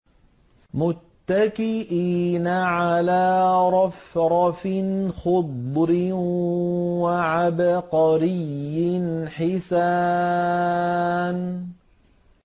مُتَّكِئِينَ عَلَىٰ رَفْرَفٍ خُضْرٍ وَعَبْقَرِيٍّ حِسَانٍ